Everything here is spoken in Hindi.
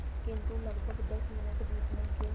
किंतु लगभग दस मिनट बीतने के